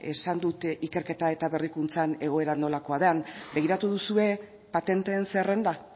esan dut ikerketa eta berrikuntzan egoera nolakoa den begiratu duzue patenteen zerrenda